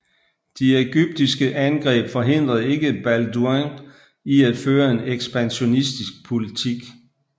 De egyptiske angreb forhindrede ikke Balduin i at føre en ekspansionistisk politik